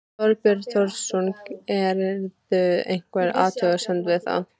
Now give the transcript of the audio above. Þorbjörn Þórðarson: Gerirðu einhverja athugasemd við það?